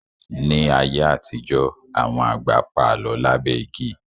Ní ayé àtijọ́, àwọn àgbà pa Àlọ́ lábẹ́ igi